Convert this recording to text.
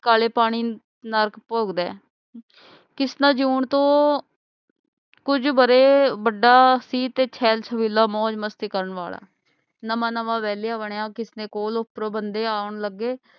ਕਾਲੇ ਪਾਣੀ ਨਰਕ ਭੋਗਦਾ ਹੈ ਕਿਸਨਾ ਜਯੋਂ ਤੋਂ ਕੁਛ ਵਰੇ ਬੜਾ ਸੀ ਤੇ ਛੇਲ ਛਬੀਲਾ ਮੌਜ ਮਸਤੀ ਕਰਨ ਵਾਲਾ ਨਵਾਂ ਨਵਾਂ ਵੇਲਿਆਂ ਬਣਾ ਕਿਸਨੇ ਕੋਲ ਉਪਰੇ ਬੰਦੇ ਆਉਣ ਲਗੇ